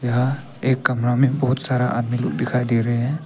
यहां एक कमरा में बहुत सारा आदमी लोग दिखाई दे रहे हैं।